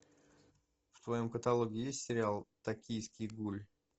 в твоем каталоге есть сериал токийский гуль